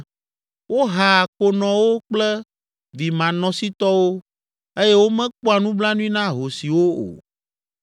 Wohaa konɔwo kple vimanɔsitɔwo eye womekpɔa nublanui na ahosiwo o.